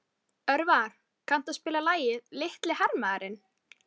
Ingifinna, viltu hoppa með mér?